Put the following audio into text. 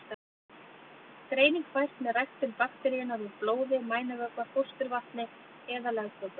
Greining fæst með ræktun bakteríunnar úr blóði, mænuvökva, fósturvatni eða legköku.